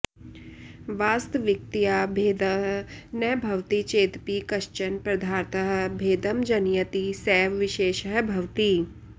वास्तविकतया भेदः न भवति चेदपि कश्चन पदार्थः भेदं जनयति सैव विशेषः भवति